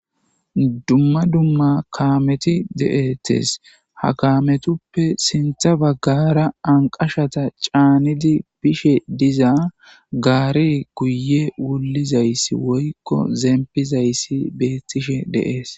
dumma dumma kaameti deettes ha kaametuppe sintha baggara anqashata caanidi bishe diza gaari kuye wulizayssi woykko zempizayssi beettishe de7ees